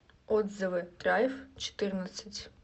отзывы драйв четырнадцать